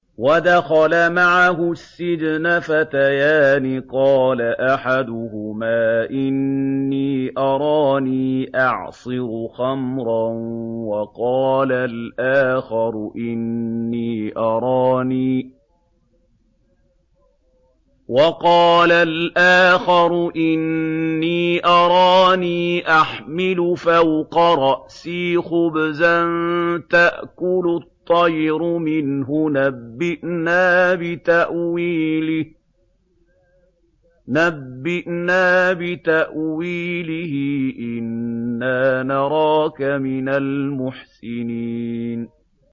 وَدَخَلَ مَعَهُ السِّجْنَ فَتَيَانِ ۖ قَالَ أَحَدُهُمَا إِنِّي أَرَانِي أَعْصِرُ خَمْرًا ۖ وَقَالَ الْآخَرُ إِنِّي أَرَانِي أَحْمِلُ فَوْقَ رَأْسِي خُبْزًا تَأْكُلُ الطَّيْرُ مِنْهُ ۖ نَبِّئْنَا بِتَأْوِيلِهِ ۖ إِنَّا نَرَاكَ مِنَ الْمُحْسِنِينَ